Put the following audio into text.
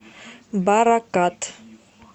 баракат